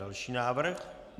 Další návrh.